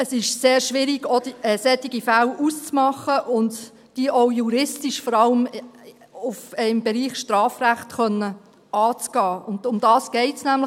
Es ist sehr schwierig, solche Fälle auszumachen und diese auch juristisch im Bereich Strafrecht anzugehen, und darum geht es nämlich.